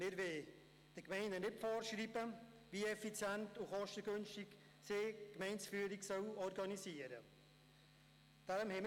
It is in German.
Wir wollen ihnen nicht vorschreiben, wie effizient und kostengünstig sie die Gemeindeführung organisieren sollen.